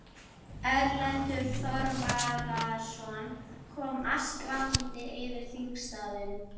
Erlendur Þorvarðarson kom askvaðandi yfir þingstaðinn.